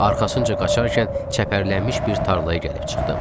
Arxasınca qaçarkən çəpərlənmiş bir tarlaya gəlib çıxdım.